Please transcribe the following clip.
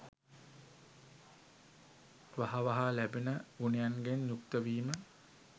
වහ වහා ලැබෙන ගුණයන්ගෙන් යුක්තවීම